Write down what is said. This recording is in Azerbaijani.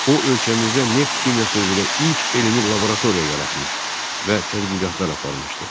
O ölkəmizdə neft kimyası üzrə ilk elmi laboratoriya yaratmış və tədqiqatlar aparmışdı.